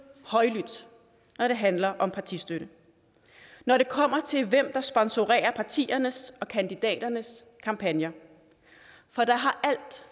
højlydt når det handler om partistøtte når det kommer til hvem der sponsorerer partiernes og kandidaternes kampagner for alt